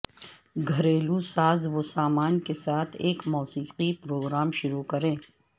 گھریلو سازوسامان کے ساتھ ایک موسیقی پروگرام شروع کریں